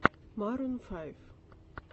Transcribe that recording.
марун файв